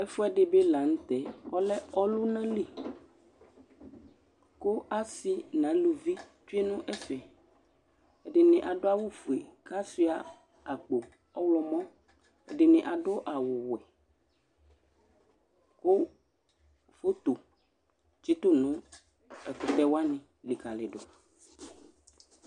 ɛfuɛdi di bi la nu tɛ ɔlɛ ɔluna li, ku asi nu aluvi tsʋe nu ɛfɛ, ɛdini adu awu fue ku asʋia akpo ɔwlɔmɔ, ɛdini adu awu wɛ, ku foto tsitu nu ɛkutɛ wʋani likali du